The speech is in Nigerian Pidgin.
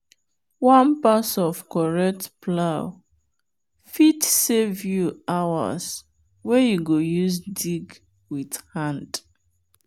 one pass of correct plow fit save you hours wey you go use dig with hand.